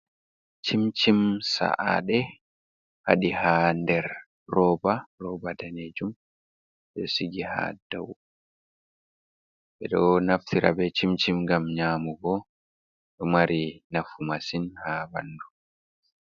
Cimcim sa’aɗe, waɗi ha nder roba, roba danejum ɗo sigi ha dow ɓeɗo naftira be cimcim ngam nyamugo ɗo mari nafu masin ha ɓandu.